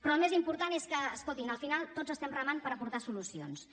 però el més important és que escoltin al final tots estem remant per aportar solucions